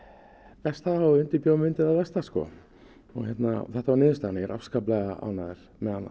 besta og undirbjó mig undir það versta og þetta var niðurstaðan ég er afskaplega ánægður